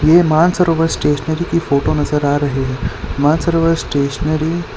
ये मानसरोवर स्टेशनरी की फोटो नजर आ रही है मानसरोवर स्टेशनरी --